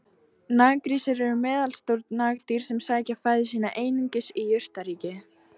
Naggrísir eru meðalstór nagdýr sem sækja fæðu sína einungis í jurtaríkið.